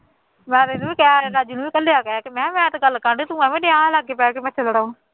ਮੈਂ ਤਾਂ ਇਹਨੂੰ ਵੀ ਕਹਿ ਦਿੱਤਾ, ਇਕੱਲੇ ਹੈਗੇ, ਅਤੇ ਮੈ ਕਿਹਾ ਮੈ ਤੇ ਗੱਲ ਕਰ ਲਈ ਤੂੰ ਐਵੇਂ ਲਾ ਕੇ ਬਹਿ ਗਿਆ ਮੱਛਰ ਲੜਾਉਣ